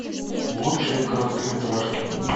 лучшие короткометражки